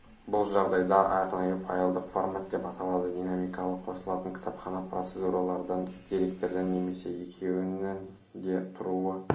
бұл жағадайда арнайы файлдық формат деп аталады динамикалы қосылатын кітапхана процедуралардан деректерден немесе екеуінен де тұруы